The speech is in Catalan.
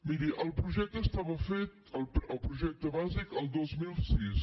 miri el projecte estava fet el projecte bàsic el dos mil sis